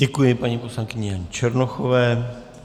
Děkuji paní poslankyni Janě Černochové.